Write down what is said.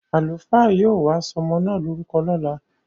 Àlùfáà yóò wá sọmọ na lorúkọ lọ́la.